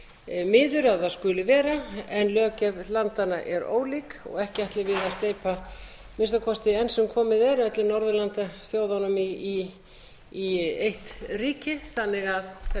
miður að það skuli vera en löggjöf landanna er ólík ekki ætlum við að steypa að minnsta kosti enn sem komið er öllum norðurlandaþjóðunum í eitt ríki þannig